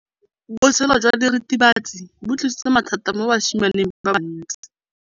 Botshelo jwa diritibatsi ke bo tlisitse mathata mo basimaneng ba bantsi.